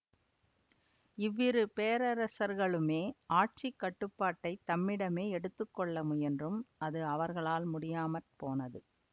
இவ்விரு பேரரசர்களுமே ஆட்சி கட்டுப்பாட்டை தம்மிடமே எடுத்து கொள்ள முயன்றும் அது அவர்களால் முடியாமற்போனது